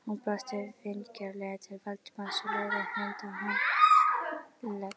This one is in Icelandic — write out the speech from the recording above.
Hún brosti vingjarnlega til Valdimars og lagði hönd á handlegg